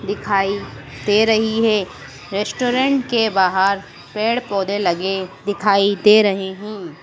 दिखाई दे रही है रेस्टोरेंट के बाहर पेड़ पौधे लगे दिखाई दे रहे है।